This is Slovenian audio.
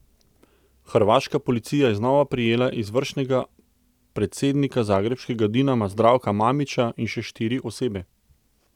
Hrvaška policija je znova prijela izvršnega predsednika zagrebškega Dinama Zdravka Mamića in še štiri osebe.